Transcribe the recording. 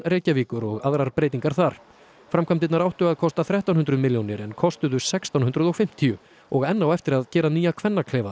Reykjavíkur og aðrar breytingar þar framkvæmdirnar áttu að kosta þrettán hundruð milljónir en kostuðu sextán hundruð og fimmtíu og enn á eftir að gera nýja